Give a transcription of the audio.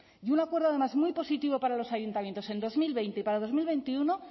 y un acuerdo además muy positivo para los ayuntamientos en dos mil veinte y para dos mil veintiuno